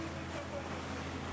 Daha nə qədər gedəcəyik?